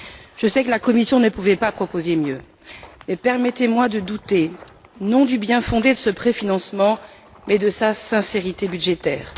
Je sais que la Commission ne pouvait pas proposer mieux mais permettez moi de douter, non du bien fondé de ce préfinancement, mais de sa sincérité budgétaire.